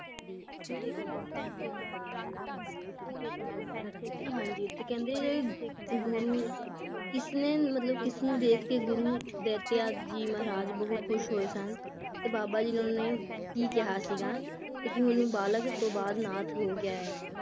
ਹਾਂਜੀ ਤੇ ਕਹਿੰਦੇ ਗੁਰੂ ਕਿਸ ਨੇ ਮਤਲਬ ਕਿਸ ਨੂੰ ਦੇਖਕੇ ਗੁਰੂ ਦੈਤਿਆ ਜੀ ਮਹਾਰਾਜ ਬਹੁਤ ਖੁਸ਼ ਹੋਏ ਸਨ ਤੇ ਬਾਬਾ ਜੀ ਨੂੰ ਉਹਨਾਂ ਨੇ ਕਿਹਾ ਸੀਗਾ ਕੇ ਹੁਣ ਉਹ ਬਾਲਕ ਤੋਂ ਬਾਅਦ ਨਾਥ ਹੋ ਗਿਆ ਏ